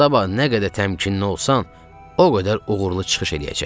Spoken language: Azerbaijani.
Sabah nə qədər təmkinli olsan, o qədər uğurlu çıxış eləyəcəksən.